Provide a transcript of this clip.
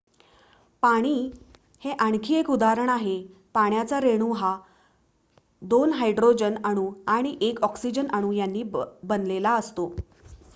पाणी हे आणखी एक उदाहरण आहे पाण्याचा रेणू हा 2 हायड्रोजन अणू आणि 1 ऑक्सिजन अणू यांनी बनलेला असतो